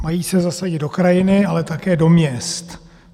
Mají se zasadit do krajiny, ale také do měst.